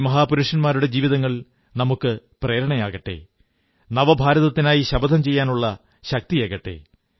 ഈ മഹാപുരുഷന്മാരുടെ ജീവിതങ്ങൾ നമുക്കു പ്രേരണയേകട്ടെ നവഭാരതത്തിനായി ശപഥം ചെയ്യാനുള്ള ശക്തിയേകട്ടെ